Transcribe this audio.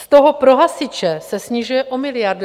Z toho pro hasiče se snižuje o miliardu.